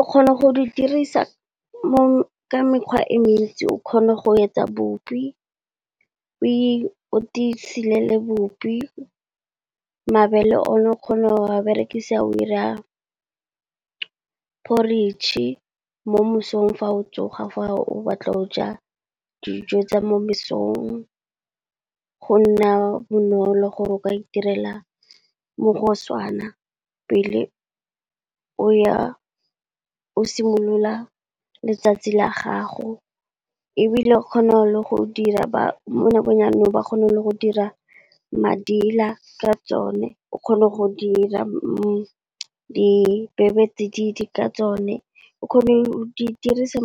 O kgona go di dirisa mo ka mekgwa e mentsi, o kgona go etsa bupi, o isilele bupi. Mabele o ne o kgona go a berekise a o ira poritšhe mo mosong fa o tsoga fa o batla go o ja dijo tsa mo mesong. Go nna bonolo gore o ka itirela mogosana pele o ya o simolola letsatsi la gago, ebile o kgona le go dira mo nakong ya janong ba kgona le go dira madila ka tsone, o kgone go dira dibebetsididi ka tsone, o kgona go di dirisa